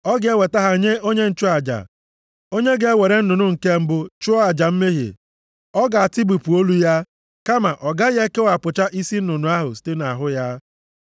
Ọ ga-eweta ha nye onye nchụaja. Onye ga-ewere nnụnụ nke mbụ chụọ aja mmehie. Ọ ga-atụbipụ olu ya, kama ọ gaghị ekewapụcha isi nnụnụ ahụ site nʼahụ ya.